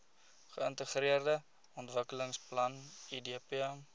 geintegreerde ontwikkelingsplan idp